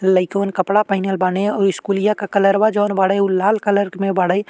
लइकवन कपड़ा पहिनल बाने अउ स्कूलिया क कलरवा जौन बाड़े उ लाल कलर में बाड़ै।